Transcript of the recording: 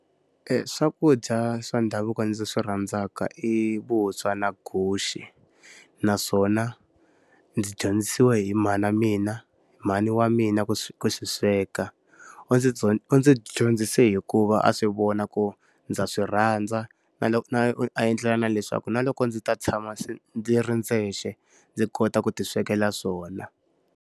Swakudya swa ndhavuko ndzi swi rhandzaka i vuswa na guxe. Naswona, ndzi dyondzisiwe hi mhana mina, mhani wa mina ku swi ku swi sweka. u ndzi u ndzi dyondzise hikuva a swi vona ku ndza swi rhandza, na a endlela na leswaku na loko ndzi ta tshama ndzi ri ndzexe, ndzi kota ku ti swekela swona.